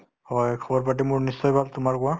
হয়, খবৰ পাতি মোৰ নিশ্চয় ভাল তোমাৰ কোৱা